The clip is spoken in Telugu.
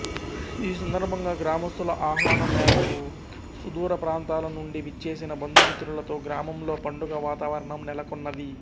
ఈ సందర్భంగా గ్రామస్థుల ఆహ్వానం మేరకు సుదూరప్రాంతాల నుండి విచ్చేసిన బంధుమిత్రులతో గ్రామంలో పండుగ వాతావరణం నెలకొన్నది